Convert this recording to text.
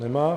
Nemá.